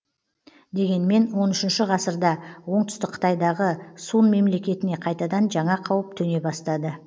дегенмен он үшінші ғасырда оңтүстік қытайдағы сун мемлекетіне қайтадан жаңа қауіп төне бастады